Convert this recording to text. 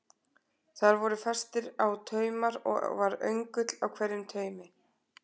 Þar voru festir á taumar og var öngull á hverjum taumi.